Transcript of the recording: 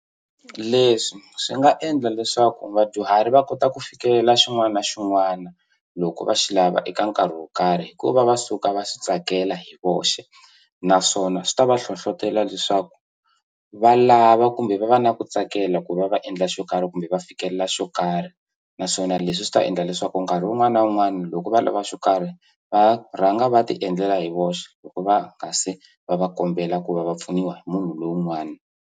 Leswi swi nga endla leswaku vadyuhari va kota ku fikelela xin'wana na xin'wana loko va xi lava eka nkarhi wo karhi hikuva va suka va swi tsakela hi voxe naswona swi ta va hlohlotela leswaku va lava kumbe va va na ku tsakela ku va va endla xo karhi kumbe va fikelela xo karhi naswona leswi swi ta endla leswaku nkarhi wun'wani na wun'wani loko va lava xo karhi va rhanga va ti endlela hi voxe loko va nga se va va kombela ku va va pfuniwa hi munhu lowun'wana.